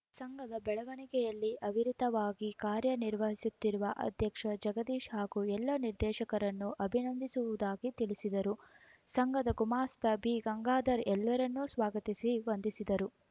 ಸಂಘದ ಬೆಳವಣಿಗೆಯಲ್ಲಿ ಅವಿರತವಾಗಿ ಕಾರ್ಯನಿರ್ವಹಿಸುತ್ತಿರುವ ಅಧ್ಯಕ್ಷ ಜಗದೀಶ್‌ ಹಾಗೂ ಎಲ್ಲ ನಿರ್ದೇಶಕರನ್ನು ಅಭಿನಂದಿಸುವುದಾಗಿ ತಿಳಿಸಿದರು ಸಂಘದ ಗುಮಾಸ್ತ ಬಿಗಂಗಾಧರ ಎಲ್ಲರನ್ನೂ ಸ್ವಾಗತಿಸಿ ವಂದಿಸಿದರು